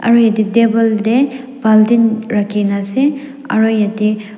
table te baltin rakhi kena ase aru yate.